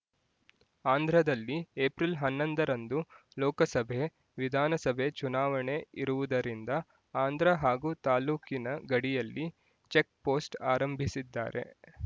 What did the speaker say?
ಆಂಧ್ರದಲ್ಲಿ ಏಪ್ರಿಲ್ ಹನ್ನೊಂದರಂದು ಲೋಕಸಭೆ ವಿಧಾನಸಭೆ ಚುನಾವಣೆ ಇರುವುದರಿಂದ ಆಂಧ್ರ ಹಾಗೂ ತಾಲ್ಲೂಕಿನ ಗಡಿಯಲ್ಲಿ ಚೆಕ್ ಪೋಸ್ಟ್ ಆರಂಭಿಸಿದ್ದಾರೆ